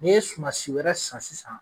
Ni ye sumansi wɛrɛ san sisan.